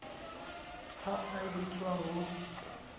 ha e a etswa ho